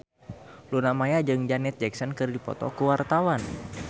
Luna Maya jeung Janet Jackson keur dipoto ku wartawan